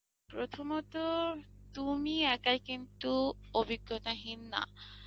প্রথমত তুমি একাই কিন্তু অভিজ্ঞতাহীন না,